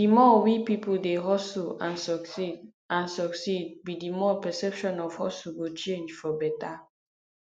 di more we peolpe dey hustle and succeed and succeed be di more perception of hustle go change for beta